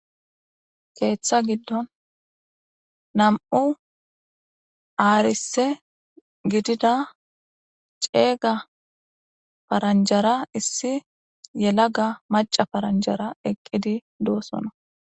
keeththa giddon nam'u aarise gidida ceeyga paranjara issi yelaga maca paranjara eqqidi doosono.